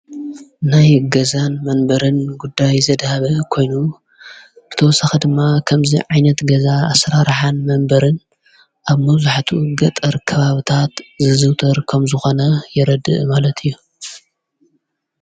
ናይ ገዛን መንበርን ጉዳይ ዘድሃበ ኮይኑ ክተወሰኺ ድማ ኸምዙ ዓይነት ገዛ ኣሥራረኃን መንበርን ኣብ መዙሕቱ ገጠር ከባብታት ዝዝውጥር ከም ዝኾነ የረድእ ማለት እዩ።